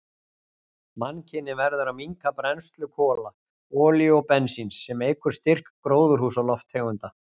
Mannkynið verður að minnka brennslu kola, olíu og bensíns, sem eykur styrk gróðurhúsalofttegunda.